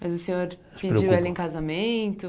Mas o senhor pediu ela em casamento?